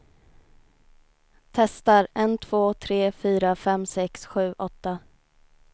Testar en två tre fyra fem sex sju åtta.